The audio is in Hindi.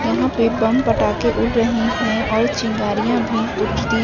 यहां पे बम पटाखे उड़ रहे हैं और चिंगारियां भी उठाती--